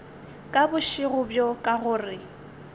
ka bošego bjo ka gore